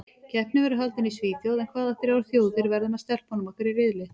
Keppnin verður haldin í Svíþjóð en hvaða þrjár þjóðir verða með stelpunum okkar í riðli?